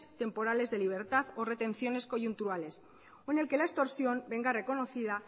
temporales de libertad o retenciones coyunturales o en la que la extorsión venga reconocida